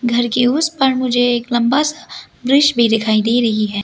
घर के उस पार मुझे एक लंबा सा वृक्ष भी दिखाई दे रही है।